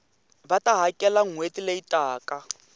va ta hakela nhweti leyi taka